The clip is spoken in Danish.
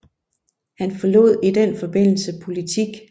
Han forlod i den forbindelse politik